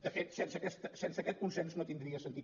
de fet sense aquest consens no tindria sentit